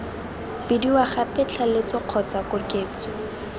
bidiwa gape tlaleletso kgotsa koketso